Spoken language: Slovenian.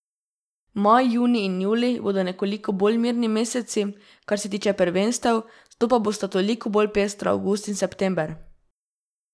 Maj, junij in julij bodo nekoliko bolj mirni meseci, kar se tiče prvenstev, zato pa bosta toliko bolj pestra avgust in september.